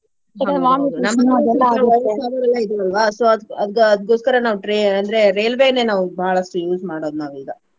so ಅದ್ ಅದ ಅದಕೊಸ್ಕರ ನಾವ್ tra~ ಅಂದ್ರೆ ರೇಲ್ವೆನೆ ನಾವು ಬಾಳಷ್ಟು use ಮಾಡೋದ್ ನಾವೀಗಾ.